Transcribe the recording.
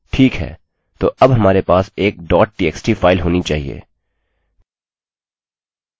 ठीक है तो अब हमारे पास एक txt फाइल होनी चाहिए